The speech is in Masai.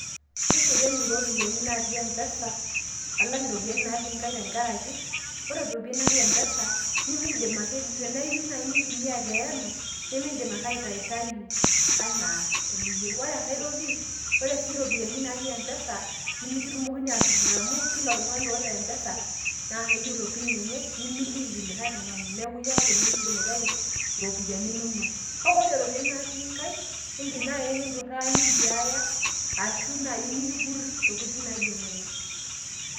keserian iropiyiani natii empesa, alang' iropiyiani natii inkaik tenkaraki, ore iropiyiani natii mpesa, nimidim ake, tenaa iyieu naaji nintumia tiae olong',nimidim ake aitayutayu anaa eniyieu, ore sii ae toki ore sii iropiyiani natii mpesa nemetumokini aatupur amu kila oltungani oota mpesa, naa keeta pin enye, nimiliki likae tungani, neeku iyie ake openy oyiolo. kake ore iropiyiani natii inkaik, idim naaji nikiipuri arashu nintiaya intokitin naijo nejia.